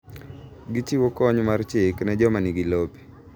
Gichiwo kony mar chik ne joma nigi lope.